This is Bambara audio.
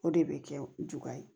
O de bɛ kɛ juguya ye